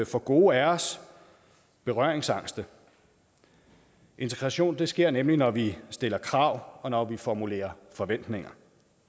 for gode af os berøringsangste integration sker nemlig når vi stiller krav og når vi formulerer forventninger